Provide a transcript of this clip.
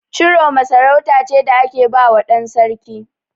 Ciroma sarauta ce da ake bawa ɗan sarki.